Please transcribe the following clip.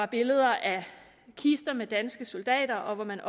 billeder af kister med danske soldater og hvor man